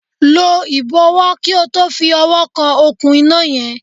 Lọ ìbọ̀wọ̀ kí o tó fi ọwọ́ kan òkun iná yẹn.